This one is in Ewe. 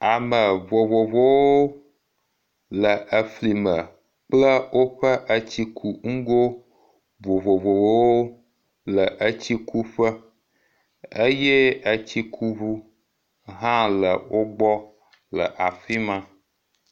Ame vovovowo le efli me kple woƒe etsikunugo vovovowo le etsikuƒe eye etsikuŋu hã le wogbɔ le afi ma.